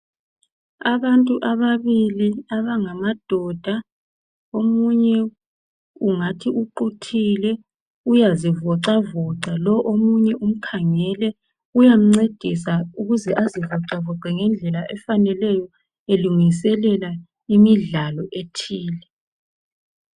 Abantu ababili, abangamadoda, omunye ungathi uquthile uyazivoxavoxa. Omunye umkhangele uyamncedisa ukuze azivoxavoxe ngendlela efaneleyo, elungiselela imidlalo ethile.